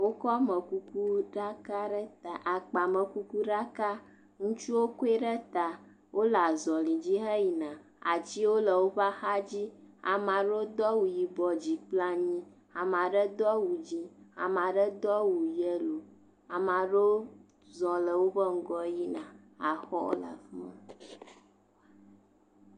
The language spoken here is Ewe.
Wokɔ amekukuɖaka ɖe ta. Akpamekukuɖaka. Ŋutsuwo koe ɖe ta wole azɔlidzi heyina. Atsiwo le woƒe axa dzi. Ame aɖewo do awu yibɔ dzi kple anyi. Ame aɖe do awu dzi, ame aɖe do awu yelo. Ame aɖewo zɔ le woƒe ŋgɔ yi na.